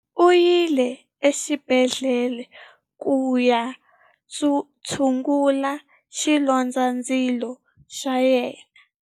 U yile exibedhlele ku ya tshungurisa xilondzandzilo xa yena.